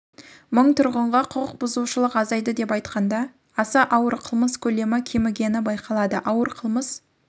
мың тұрғынға құқық бұзушылық азайды атап айтқанда аса ауыр қылмыс көлемі кемігені байқалады ауыр қылмыс